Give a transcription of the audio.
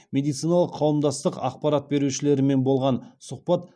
медициналық қауымдастық ақпарат берушілерімен болған сұхбат